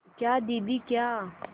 क्या दीदी क्या